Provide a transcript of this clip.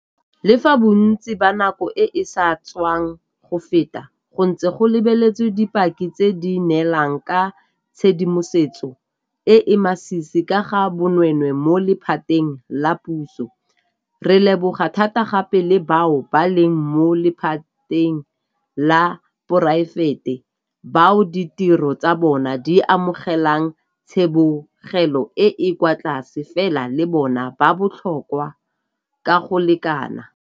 Le fa bontsi ba nako e e sa tswang go feta go ntse go lebeletswe dipaki tse di neelang ka tshedimosetso e e masisi ka ga bonweenwee mo lephateng la puso, re leboga thata gape bao ba leng mo lephateng la poraefete bao ditiro tsa bona di amogelang tsibogelo e e kwa tlase, fela le bona ba botlhokwa ka go lekana.